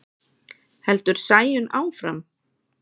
heldur Sæunn áfram.